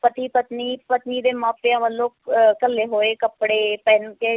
ਪਤੀ ਪਤਨੀ, ਪਤਨੀ ਦੇ ਮਾਪਿਆਂ ਵੱਲੋਂ ਅਹ ਘੱਲੇ ਹੋਏ ਕੱਪੜੇ ਪਹਿਨ ਕੇ,